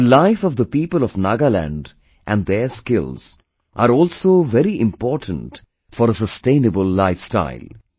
The life of the people of Nagaland and their skills are also very important for a sustainable life style